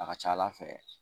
A ka ca Ala fɛ